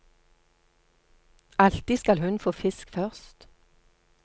Alltid skal hun få fisk først.